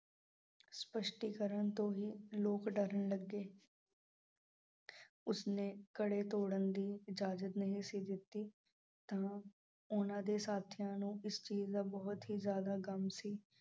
ਸਪੱਸ਼ਟੀਕਰਨ ਤੋਂ ਵੀ ਲੋਕ ਡਰਨ ਲੱਗੇ। ਉਸ ਨੇ ਘੜੇ ਤੋੜਨ ਦੀ ਇਜਾਜ਼ਤ ਨਹੀਂ ਸੀ ਦਿੱਤੀ ਤਾਂ ਉਨ੍ਹਾਂ ਦੇ ਸਾਥੀਆਂ ਨੂੰ ਇਸ ਚੀਜ਼ ਦਾ ਬਹੁਤ ਹੀ ਜ਼ਿਆਦਾ ਗਮ ਸੀ।